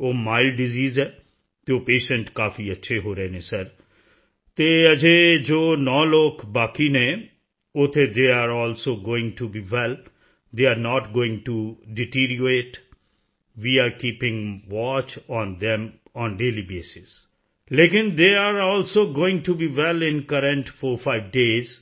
ਉਹ mild disease ਹੈ ਅਤੇ ਉਹ ਪੇਸ਼ੈਂਟ ਕਾਫੀ ਅੱਛੇ ਹੋ ਰਹੇ ਹਨ ਸਰ ਅਤੇ ਅਜੇ ਇਹ ਜੋ 9 ਲੋਕ ਬਾਕੀ ਹਨ ਉੱਥੇ they are also going to be well they are not going to deteriorate we are keeping watch on them on daily basis ਲੇਕਿਨ they are also going to be well in current 45 days